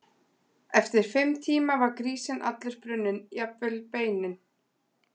Ólafur verður sjálfur ekki þátttakandi í leiknum þar sem hann tekur út leikbann.